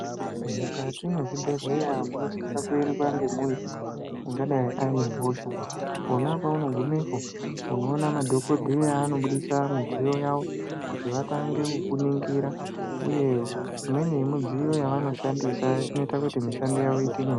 Mukati mwezvibhedhlera munosise kuendwa ngemunhu ungadayi ane hosha pona apapo paunogumepo unoona madhokodheya anobudisa midziyo yavo kuti vatange kukuningira uye imweni midziyo yavanoshandisa inoite kuti mishando yavo iite nyore.